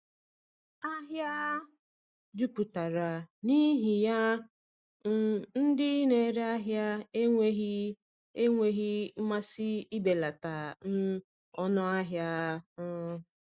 Ahịa jupụtara, n’ihi ya um ndị na-ere ahịa enweghị enweghị mmasị ibelata um ọnụ ahịa. um